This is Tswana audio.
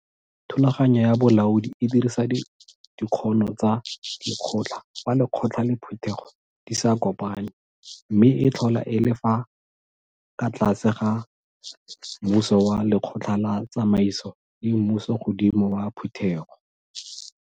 Thulaganyo ya Bolaodi e dirisa dikgono tsa Lekgotla fa Lekgotla le Phutego di sa kopane mme e tlhola e le ka fa tlase ga mmuso wa Lekgotla la Tsamaiso le mmusogodimo wa Phutego.